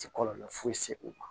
Ti kɔlɔlɔ foyi se o ma